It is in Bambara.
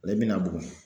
Ale bɛna bugun